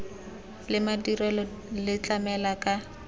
le madirelo le tlamela ka